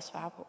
svare på